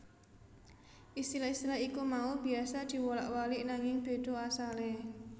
Istilah istilah iku mau biasa diwolak walik nanging beda asale